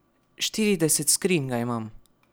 Štirideset skrinj ga imam.